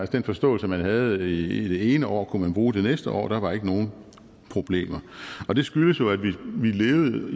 den forståelse man havde i det ene år kunne man bruge det næste år der var ikke nogen problemer og det skyldes jo at vi levede